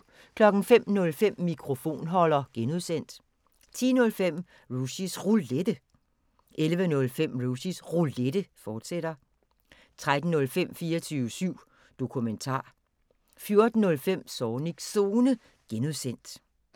05:05: Mikrofonholder (G) 10:05: Rushys Roulette 11:05: Rushys Roulette, fortsat 13:05: 24syv Dokumentar 14:05: Zornigs Zone (G)